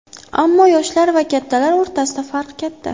Ammo yoshlar va kattalar o‘rtasida farq katta.